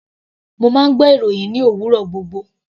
Mo máa ń gbọ́ ìròhìn ní òwúrọ̀ gbogbo.